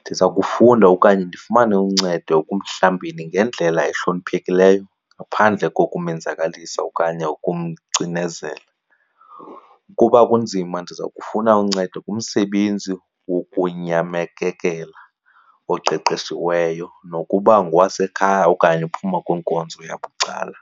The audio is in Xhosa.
Ndiza kufunda okanye ndifumane uncedo ekumhlambeni ngendlela ehloniphekileyo ngaphandle kokumenzakalisa okanye ukumcinezela. Ukuba kunzima ndiza kufuna uncedo kumsebenzi wokunyamekekela oqeqeshiweyo nokuba ngokwasekhaya okanye uphuma kwiinkonzo yabucala.